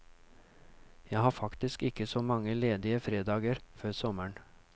Jeg har faktisk ikke så mange ledige fredager før sommeren.